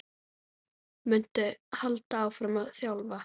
Muntu halda áfram að þjálfa?